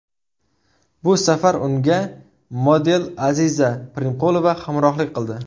Bu safar unga model Aziza Primqulova hamrohlik qildi.